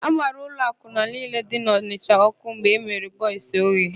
A gbara ụlọ akwụna niile dị n'Ọnịsha ọ́kụ́ mgbe emere Bọis Oye.